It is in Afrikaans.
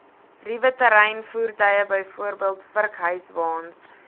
ruweterreinvoertuie bv vurkhyswaens